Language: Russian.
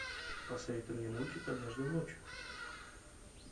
посоветуй мне мультик однажды ночью